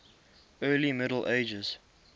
early middle ages